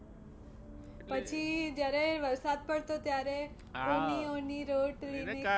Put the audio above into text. પછી જયારે વરસાદ પડતો ત્યારે ઊની ઊની રોટલી ને કારેલા